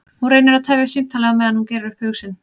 Hún reynir að tefja símtalið á meðan hún gerir upp hug sinn.